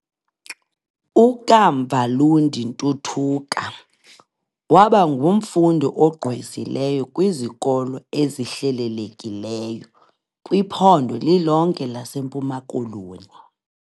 U-Kamva Lundi Ntutuka wabangumfundi ogqwesileyo kwizikolo ezihlelelekileyo kwiphondo lilonke lase mpuma koloni.